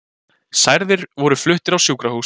Særðir voru fluttir á sjúkrahús